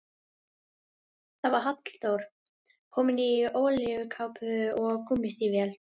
Það var Halldór, kominn í olíukápu og gúmmístígvél.